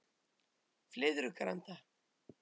Flyðrugranda